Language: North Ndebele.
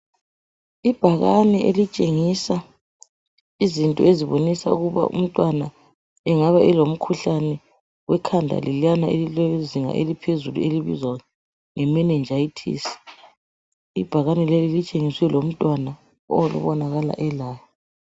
Ibhakane elitshengisa izinto ezibonisa ukuba umntwana engabe elomkhuhlane wekhanda leliyana elilezinga eliphezulu elibizwa nge meningitis. Ibhakane leli kutshengisiwe lomntwana obonakala elayo.